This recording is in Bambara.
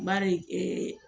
Bari